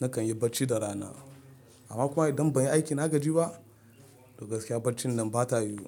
nakan yi bacci da rana. Amma kuma idan ban yi aiki na gaji ba, to gaskiya baccin nan ba ta yiwu.